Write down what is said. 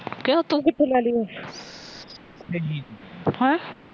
ਹੈ ਤੁੂੰ ਕਿੱਥੋ ਲੈ ਲਈ ਉਹ ਹੈ